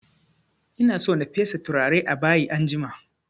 Ina so na fesa turare a bayi anjima